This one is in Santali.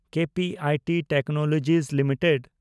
KPIT technology limited